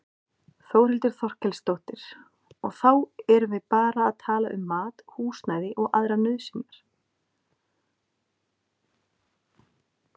Þórhildur Þorkelsdóttir: Og þá erum við bara að tala um mat, húsnæði og aðrar nauðsynjar?